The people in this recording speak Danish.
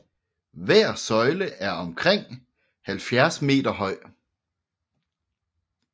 Hver søjle er omkring 70 meter høj